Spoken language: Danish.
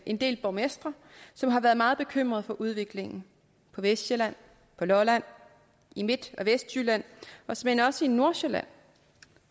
en del borgmestre som har været meget bekymrede for udviklingen på vestsjælland lolland i midt og vestjylland og såmænd også i nordsjælland